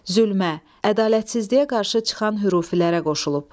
Zülmə, ədalətsizliyə qarşı çıxan hürfilərə qoşulub.